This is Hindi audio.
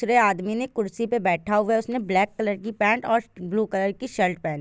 दूसरे आदमी ने कुर्सी पे बैठा हुआ है। उसने ब्लैक कलर की पैंट और ब्लू कलर की शर्ट पहनी--